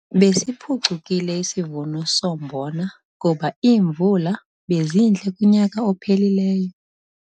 Besiphucukile isivuno sombona kuba iimvula bezintle kunyaka ophelileyo.